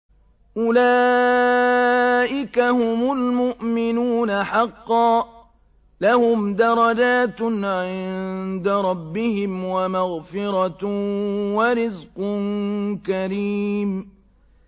أُولَٰئِكَ هُمُ الْمُؤْمِنُونَ حَقًّا ۚ لَّهُمْ دَرَجَاتٌ عِندَ رَبِّهِمْ وَمَغْفِرَةٌ وَرِزْقٌ كَرِيمٌ